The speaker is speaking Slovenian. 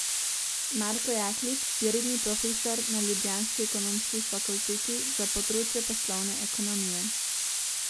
Marko Jaklič je redni profesor na ljubljanski ekonomski fakulteti za področje poslovne ekonomije.